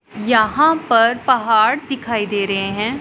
यहां पर पहाड़ दिखाई दे रहे हैं।